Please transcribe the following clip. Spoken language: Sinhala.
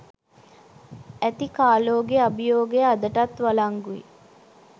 ඇති කාලෝගෙ අභියෝගය අදටත් වලංගුයි